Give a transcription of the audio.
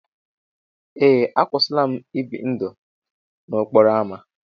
Ee, akwụsịla m ibi ndụ n'okporo ámá.